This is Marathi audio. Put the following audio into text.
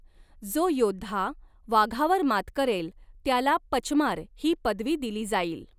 जो योद्धा वाघावर मात करेल त्याला पचमार ही पदवी दिली जाईल.